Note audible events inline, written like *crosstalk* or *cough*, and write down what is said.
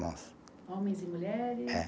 *unintelligible* Homens e mulheres? É.